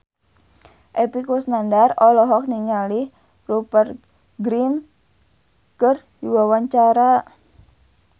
Epy Kusnandar olohok ningali Rupert Grin keur diwawancara